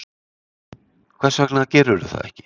Hvers vegna gerirðu það ekki?